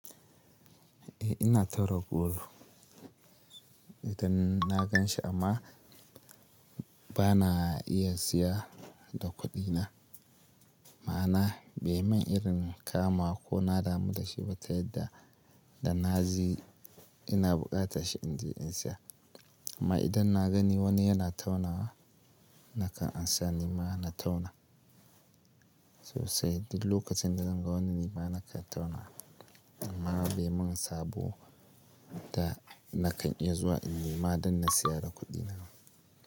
Eh ina tare gruwa idan na gan shi amma bana iya saya da kuɗi na. Ma'ana bai mun irin kama ko na damu da shi ba ta yadda da na ji ina buƙatar shi in je in saya. Amma idan na gani wani yana taunawa nakan amsa ni ma na tauna sosai. Duk lokacin da zan ga wani nima na kan tauna. Amma bai mun sabo da na kan iya zuwa in nema dan na saya da kuɗi na.